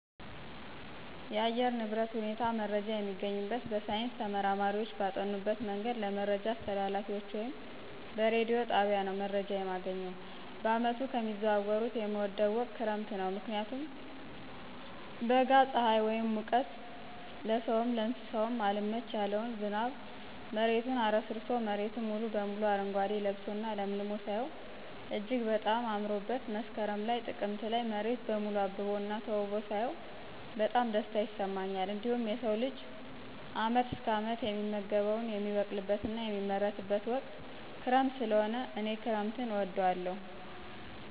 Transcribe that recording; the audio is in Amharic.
የአየር ንብረት ሁኔታ መረጃ የሚገኝበት በሳይንስ ተመራማሪዎች ባጠኑበት መንገድ ለመረጃ አስተላላፊዎች ወይም በረዲዮ ጣቢያ ነው መረጃ የማገኘው። በየዓመቱ ከሚዘዋወሩት የምወደው ወቅት ክረምት ነው ምክንያቱም በጋ እና በጣም ፅሐይ ወይም ሙቀት ለስውም ለእንሰሳውም አልመች ያለውን ዝናብ መሬቱን አረስርሶ መሬት ሙሉ በሙሉ አረጓዴ ለብሶ እና ለምልሞ ሳየው እጅግ በጣም አምሮበት መስከረም ላይ ጥቅምት ላይ መሬት በሙሉ አብቦ እና ተውቦ ሳያው በጣም ደስታ ይሰማኛል። እንዲሁም የሰው ልጅ አመት እስከ አመት የሚመገበውን የሚበቅልበት እና የሚመረትበት ወቅት ክረምት ሰለሆነ እኔ ክረምትን እወዳለሁ።